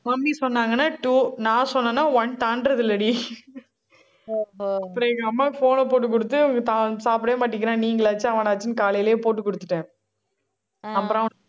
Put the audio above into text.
mummy சொன்னாங்கன்னா two நான் சொன்னேன்னா one தாண்டறது இல்லைடி. அப்புறம், எங்க அம்மாவுக்கு phone ன போட்டு கொடுத்து இவன் சாப்பிடவே மாட்டேங்குறான். நீங்களாச்சும் அவனாச்சுன்னு காலையிலேயே போட்டு கொடுத்துட்டேன். அப்புறம்